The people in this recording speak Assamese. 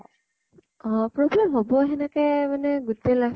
অ, problem হʼব । সেনেকে মানে গোতেই life